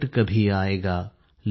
लौट कभी आएगा